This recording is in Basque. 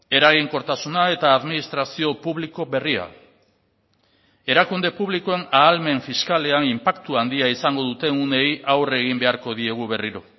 eraginkortasuna eta administrazio publiko berria erakunde publikoen ahalmen fiskalean inpaktu handia izango duten uneei aurre egin beharko diegu berriro